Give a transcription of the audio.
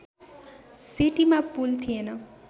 सेतीमा पुल थिएन